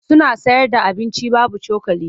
Suna sayarda abinci babu cokali.